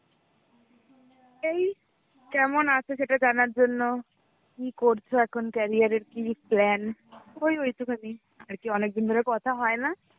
এই কেমন আছো সেটা জানার জন্য, কি করছো এখন carear এর কি প্ল্যান ওই ওই একটুখানি আর কি অনেকদিন ধরে কথা হয় না.